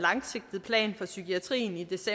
hvis